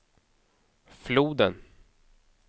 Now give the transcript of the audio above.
floden